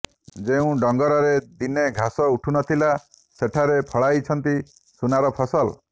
ଯେଉଁ ଡଙ୍ଗରରେ ଦିନେ ଘାସ ଉଠୁ ନଥିଲା ସେଠାରେ ଫଳାଇଛନ୍ତି ସୁନାର ଫସଲ